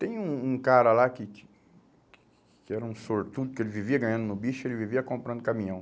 Tem um um um cara lá que que era um sortudo, que ele vivia ganhando no bicho, ele vivia comprando caminhão.